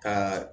Ka